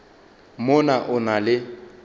mo na o na le